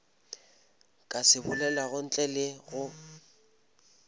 ka se bolelago ntle le